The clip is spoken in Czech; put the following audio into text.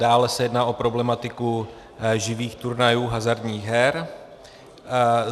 Dále se jedná o problematiku živých turnajů hazardních her.